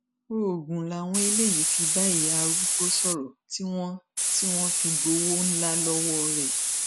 oògùn làwọn eléyìí fi bá ìyá arúgbó sọrọ tí wọn tí wọn fi gbowó ńlá lọwọ rẹ